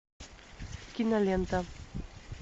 кинолента